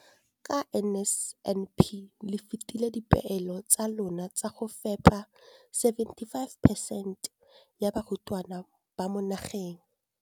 Ka NSNP le fetile dipeelo tsa lona tsa go fepa masome a supa le botlhano a diperesente ya barutwana ba mo nageng.